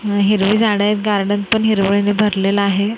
अह हिरवी झाड आहेत गार्डन पण हिरवळी ने भरलेलं आहे.